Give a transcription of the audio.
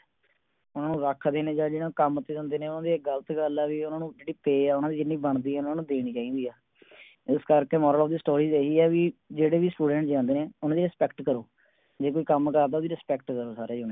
ਓਨੁ ਰੱਖਦੇ ਨੇ ਜਾ ਜਿਹਨਾਂ ਦੇ ਕੰਮ ਤੇ ਜਾਂਦੇ ਨੇ ਉਹਨਾ ਦੀ ਗ਼ਲਤ ਗੱਲ ਹੈ ਵੀ ਉਨ੍ਹਾਂ ਨੂੰ ਜਿਹੜੀ Pay ਆ ਓਹਨਾ ਦੀ ਜਿੰਨੀ ਬਣਦੀ ਆ ਓਹਨਾ ਨੂੰ ਦੇਣੀ ਚਾਹੀਦੀ ਹੈ ਇਸ ਕਰਕੇ Moral of the story ਇਹੀ ਹੈ ਵੀ ਜਿਹੜੇ ਵੀ Students ਜਾਂਦੇ ਨੇ ਊਨਾ ਦੀ Respect ਕਰੋ। ਜੇ ਕੋਈ ਕੰਮ ਕਰਦਾ ਓਹਦੀ respect ਕਰੋ ਸਾਰੇ ਜਣੇ